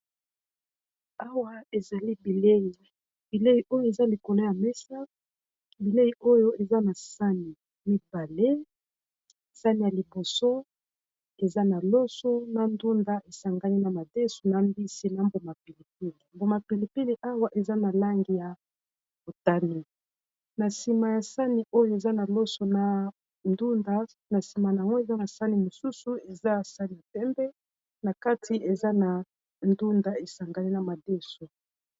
Awa ezali bileyi, bileyi oyo eza likolo ya mesa bilei oyo eza na sani mibale sani ya liboso eza na loso na ndunda esangani na madesu na mbisi na mbuma pilipili. Mbuma pilipili awa eza na langi ya motane, na sima ya sani oyo eza na loso na ndunda na sima nango eza na sani mosusu eza sani ya pembe na kati eza na ndunda esangani na madesu.